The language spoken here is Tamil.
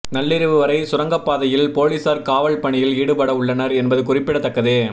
நள்ளிரவு வரை சுரங்கப்பாதையில் போலீசார் காவல் பணியில் ஈடுபட உள்ளனர் என்பது குறிப்பிடத்தக்கது